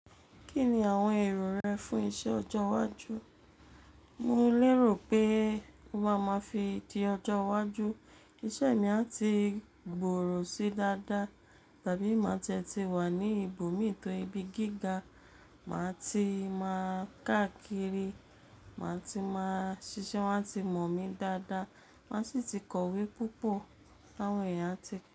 Kí ni àwọn èrò rẹ fún iṣẹ́ ọjọ́ iwájú? Mo lérò pé tobá máa fi di ọjọ́ iwájú, isẹ́ mi a ti gbòòrò sí dáadáa. Tàbí màá ti ẹ ti wà ní ibòmí to ibi gíga, màá ti máa káàkiri, màá ti máa ṣiṣẹ́, wọ́n a ti mọ̀ mí dáadáa, màá sì ti kọ̀wé púpọ̀, àwọn èèyàn a ti.